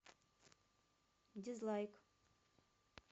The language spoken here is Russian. дизлайк